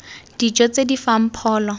dijo tse di fang pholo